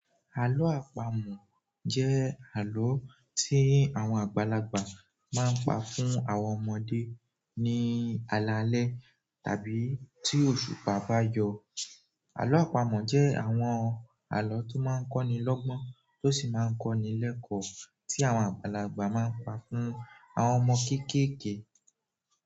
Àlọ́ àpamọ̀ jẹ́ àlọ́ tí àwọn àgbàlagbà máa ń pa fún àwọn ọmọdé ní alalẹ́ tàbí tí òṣùpá bá yọ. Àlọ́ àpamọ̀ jẹ́ àwọn àlọ́ tó máa ń kọ́ni lọ́gbọ́n tó sì máa ń kọ́ni lẹ́kọ̀ọ́ tí àwọn àgbàlagbà máa ń pá fún àwọn ọmọ kéékèèké.